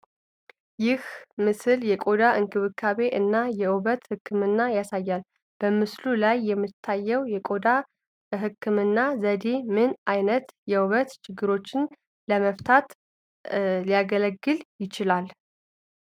ይህ ምስል የቆዳ እንክብካቤ እና የውበት ሕክምናን ያሳያል። በምስሉ ላይ የሚታየው የቆዳ ሕክምና ዘዴ ምን ዓይነት የውበት ችግሮችን ለመፍታት ሊያገለግል ይችላል?